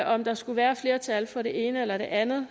om der skulle være flertal for det ene eller det andet